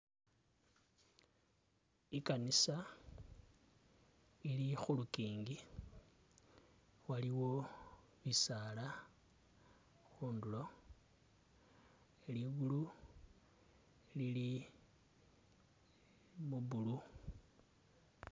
I'kanisa ili khulukingi, waliwo bisaala khundulo, ilindu lili mu blue